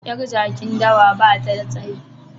Yar jakin dawa ba ta da tsayi